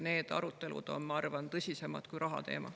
Need arutelud on, ma arvan, tõsisemad kui rahateema.